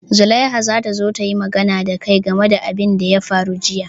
Zulaiha za ta zo ta yi magana da kai game da abin da ya faru jiya.